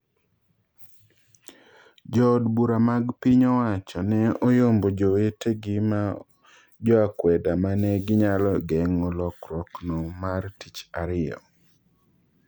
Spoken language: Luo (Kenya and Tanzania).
Jo od bura mag piny owacho ne oyombo jowetegi ma joakweda mane ginyalo geng'o lokruok no mar tich ariyo.